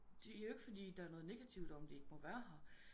De er jo ikke fordi der er noget negativt om de ikke må være her